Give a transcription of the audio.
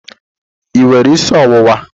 Ị nwere isi ọwụwa?